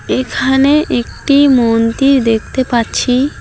এখানে একটি মন্দির দেখতে পাচ্ছি।